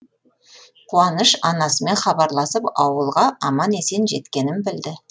қуаныш анасымен хабарласып ауылға аман есен жеткенін білді